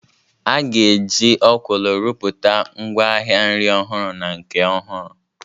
A ga-eji Okwulu rụpụta ngwaahịa nri ọhụrụ na nke ọhụrụ.